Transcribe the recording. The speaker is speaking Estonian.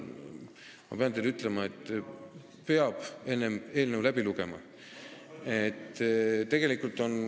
Ma pean teile ütlema, et peab enne eelnõu läbi lugema.